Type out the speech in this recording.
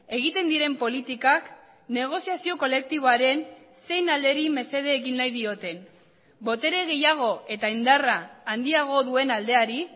egiten diren politikak negoziazio kolektiboaren zein alderi mesede egin nahi dioten botere gehiago eta indarra handiago duen aldeari